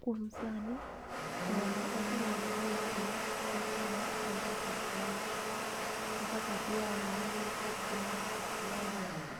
Kuom sani thoo ma oselandore ahinya en thoo mar Albert Ojwang' , Albert Ojwang ne oneg kod jo DCI moko